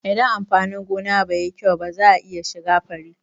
Inda amfani gona bai yi kyau ba za'a iya shiga fari